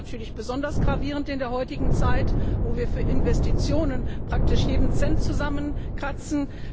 Der ist natürlich besonders gravierend in der heutigen Zeit, wo wir für Investitionen praktisch jeden Cent zusammenkratzen.